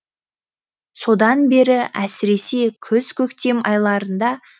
содан бері әсіресе күз көктем айларында